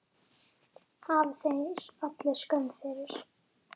Hafi þeir allir skömm fyrir!